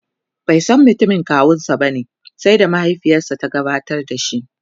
baisan mutumin kawunsa bane sai da mahaifiyarsa ta gabatar da shi